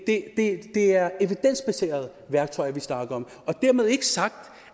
er evidensbaserede værktøjer vi snakker om dermed ikke sagt